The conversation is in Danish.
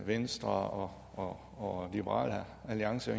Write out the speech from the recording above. venstre og liberal alliance